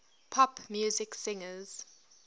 pop music singers